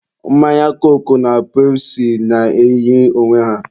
mmanya koku na pepụsi na-eyi onwe ha.